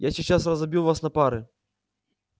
я сейчас разобью вас на пары